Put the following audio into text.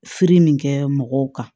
Siri nin kɛ mɔgɔw kan